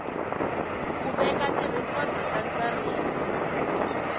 ku veka tirhikhodo ta ntsariso